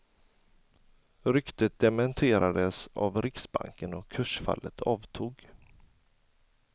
Ryktet dementerades av riksbanken och kursfallet avtog.